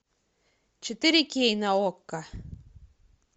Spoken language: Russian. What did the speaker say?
четыре кей на окко